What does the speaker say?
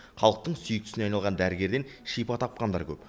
халықтың сүйіктісіне айналған дәрігерден шипа тапқандар көп